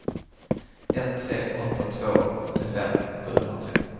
ett tre åtta två fyrtiofem sjuhundratre